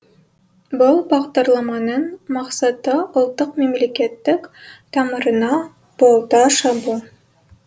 бұл бағдарламаның мақсаты ұлттық мемлекеттік тамырына балта шабу